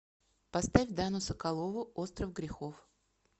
поставь дану соколову остров грехов